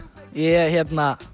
ég